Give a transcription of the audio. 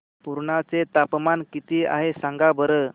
पुर्णा चे तापमान किती आहे सांगा बरं